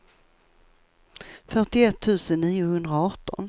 fyrtioett tusen niohundraarton